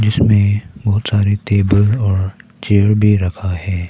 इसमें बहुत सारे टेबल और चेयर भी रखा है।